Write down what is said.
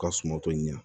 Ka sumanto ɲini